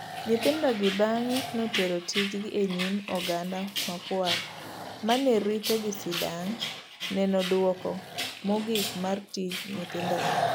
Nyithindogi bang'e notero tijgi enyim oganda makwar manerito gisidang' neno duoko mogik mar tij nyithindogo.